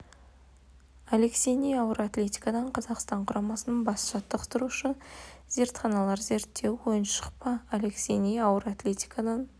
алексей ни ауыр атлетикадан қазақстан құрамасының бас жаттықтырушысы зертханалар зерттеуі ойыншық па алексей ни ауыр атлетикадан